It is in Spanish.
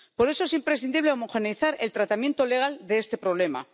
Por eso es imprescindible homogeneizar el tratamiento legal de este problema.